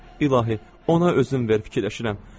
İlahi, ona özün ver, fikirləşirəm.